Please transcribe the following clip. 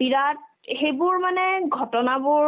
বিৰাট সেইবোৰ মানে ঘটনাবোৰ